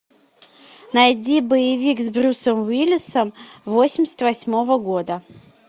найди боевик с брюсом уиллисом восемьдесят восьмого года